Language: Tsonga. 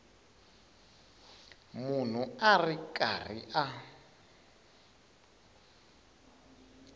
munhu a ri karhi a